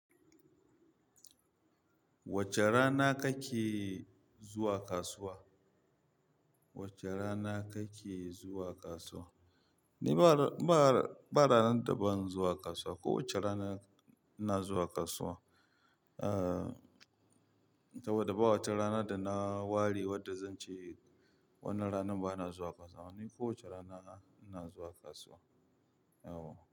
Wace rana kake zuwa kasuwa? Wace rana kake zuwa kasuwa? Ni ba, ba, ba ranar daban zuwa kasuwa. Ko wace rana ina zuwa kasuwa. Ah, saboda ba wata rana da na ware wadda zan ce wan nan ranan ba na zuwa kasuwa. Ni ko wace rana na zuwa kasuwa. Yauwa.